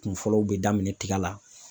Kun fɔlɔw bɛ daminɛ tiga la